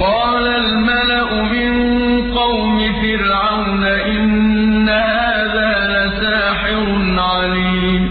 قَالَ الْمَلَأُ مِن قَوْمِ فِرْعَوْنَ إِنَّ هَٰذَا لَسَاحِرٌ عَلِيمٌ